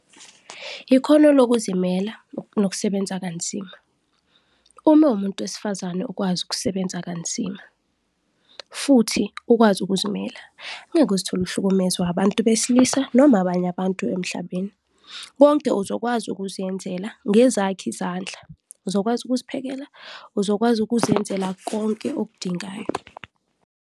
Ikhono lokuzimela nokusebenza kanzima. Uma uwumuntu wesifazane ukwazi ukusebenza kanzima futhi ukwazi ukuzimela, ngeke uzithole uhlukumezwa abantu besilisa noma abanye abantu emhlabeni. Konke uzokwazi ukuzenzela ngezakho izandla, uzokwazi ukuziphekela, uzokwazi ukuzenzela konke okudingayo.